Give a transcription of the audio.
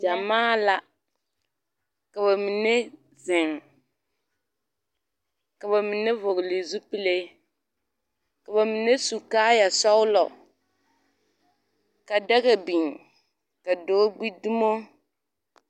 Gyamaa la ka ba mine zeŋ ka ba mine vɔgle zupile ka ba mine su kaaya sɔglo ka daga biŋ ka dɔɔ gbi dumo